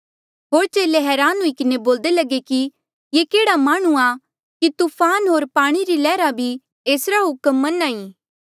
होर चेले हरान हुई किन्हें बोल्दे लगे कि ये केह्ड़ा माह्णुंआं कि तूफान होर पाणी री लैहरा भी एसरा हुक्म मन्हां ऐें